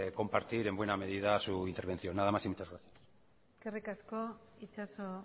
compartir en buena medida su intervención nada más y muchas gracias eskerrik asko itxaso